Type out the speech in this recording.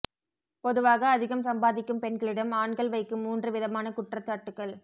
பொதுவாக அதிகம் சம்பாதிக்கும் பெண்களிடம் ஆண்கள் வைக்கும் மூன்று விதமான குற்றச்சாட்டுக்கள்